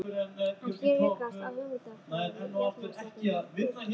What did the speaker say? En hér rekast á hugmyndafræði jafnaðarstefnunnar og guðspekinnar.